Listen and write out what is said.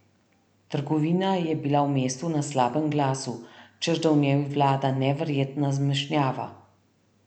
Trgovina je bila v mestu na slabem glasu, češ da v njej vlada neverjetna zmešnjava.